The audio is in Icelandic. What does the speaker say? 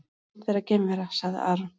Pant vera geimvera, sagði Aron.